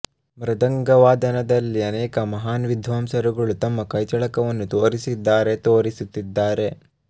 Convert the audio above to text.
ಮೃದಂಗ ವಾದನದಲ್ಲಿ ಅನೇಕ ಮಹಾನ್ ವಿಧ್ವಾಂಸರುಗಳು ತಮ್ಮ ಕೈಚಳಕವನ್ನು ತೋರಿಸಿದ್ದಾರೆ ತೋರಿಸುತ್ತಿದ್ದಾರೆ